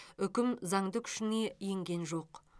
үкім заңды күшіне енген жоқ